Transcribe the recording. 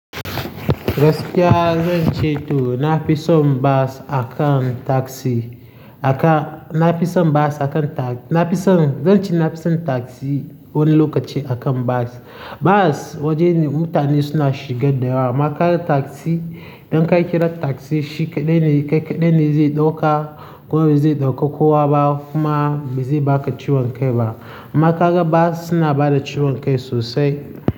Gaskiya zan ce to na fi son bus akan tasi, aka, na fi son bus akan ta-, na fi son, zan ce na fi son tasi wani lokaci akan bus. Bus wajen mutane suna shiga dayawa. Ma ka ga tasi, idan ka kira tasi shike bene, kai kadai zai ɗauka, ko zai ɗauko kowa ba, kuma me zai baka ciwon kai ba. Amma ka ga bus suna bada ciwon kai sosai.